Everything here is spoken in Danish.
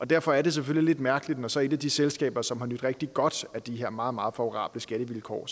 derfor er det selvfølgelig lidt mærkeligt når så et af de selskaber som har nydt rigtig godt af de her meget meget favorable skattevilkår